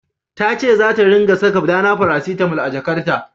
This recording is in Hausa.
Ta ce zata ringa saka Dana paracetamol a jakarta.